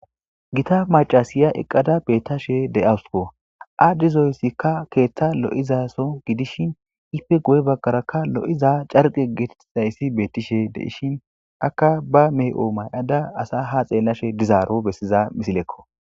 Gita macasiya eqqada beettashe de7awusuko aaddizoyssikka keeththa lo7izaso gidishin ife goye baggarakka lo7iza carqe getetizayssi beettishe deishin akka ba meh7o may7ada asa ha xeellashe dizaaro bessiza misilekko